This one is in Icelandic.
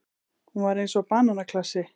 Hún var eins og bananaklasi.